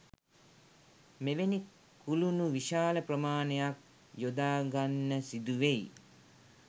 මෙවැනි කුළුණු විශාල ප්‍රමාණයක් යොදාගන්න සිදුවෙයි